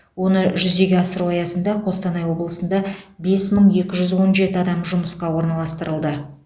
оны жүзеге асыру аясында қостанай облысында бес мың екі жүз он жеті адам жұмысқа орналастырылды